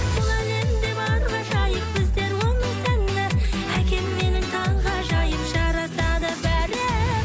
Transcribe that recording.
бұл әлемде бар ғажайып біздер оның сәні әкем менің таңғажайып жарасады бәрі